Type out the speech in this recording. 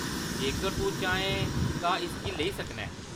जेकर तूं चाहें तां इसगी लेई सकना ऐं।